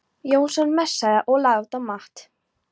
Jónsson messaði og lagði út af Matt.